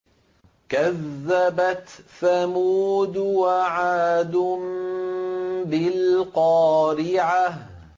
كَذَّبَتْ ثَمُودُ وَعَادٌ بِالْقَارِعَةِ